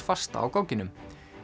fasta á gogginum